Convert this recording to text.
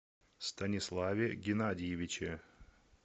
станиславе геннадьевиче